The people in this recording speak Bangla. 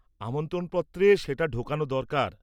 আমন্ত্রণপত্রে সেটা ঢোকানো দরকার।